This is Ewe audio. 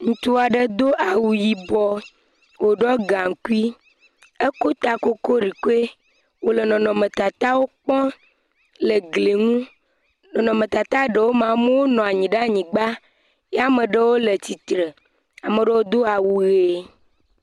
Ŋutsu aɖe do awu yibɔ, woɖo gaŋku. Ekɔ ta kolikoli wonɔ nɔnɔmetatawo kpɔm le gli ŋu. Nɔnɔmetata ɖewo mea, amewo nɔ anyi ɖe anigba ye ame aɖewo le tsitre. Ame aɖewo do awu ʋi.